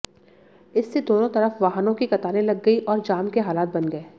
इससे दोनों तरफ वाहनों की कतारें लग गईं और जाम के हालात बन गए